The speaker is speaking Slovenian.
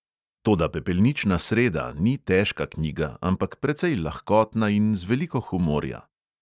Toda pepelnična sreda ni težka knjiga, ampak precej lahkotna in z veliko humorja.